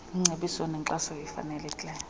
zingcebiso nankxaso ifanelekileyo